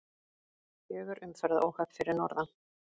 Fjögur umferðaróhöpp fyrir norðan